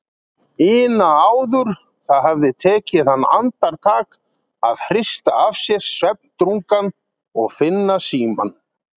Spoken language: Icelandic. ina áður, það hafði tekið hann andartak að hrista af sér svefndrungann og finna símann.